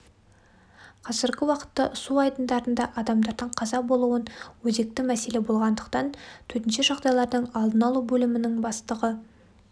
қазіргі уақытта су айдындарында адамдардың қаза болуын өзекті мәселе болғандықтан төтенше жағдайлардың алдын алу бөлімінің бастығы